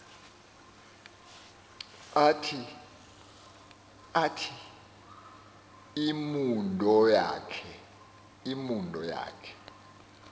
athi imundo yakhe